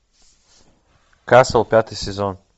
касл пятый сезон